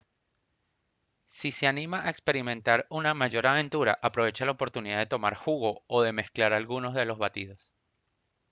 si se anima a experimentar una mayor aventura aproveche la oportunidad de tomar jugo o de mezclar algunos de los batidos